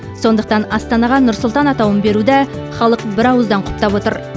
сондықтан астанаға нұр сұлтан атауын беруді халық бірауыздан құптап отыр